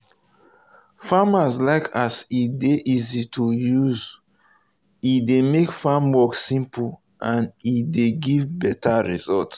farmers like as e dey easy to use e dey make farm work simple and e dey give better result.